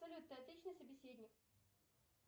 салют ты отличный собеседник